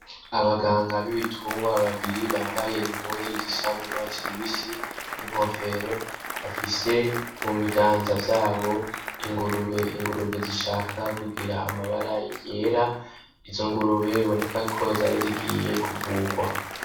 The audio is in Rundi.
Abaganga b'ibitungwa babiri bambaye impuzu zisa n'urwatsi rubisi n'inkofero bafise mu biganza vyabo ingurube, ingurube zishaka kugira amabara yera, izo ngurube biboneka ko zari zigiye kuvugwa.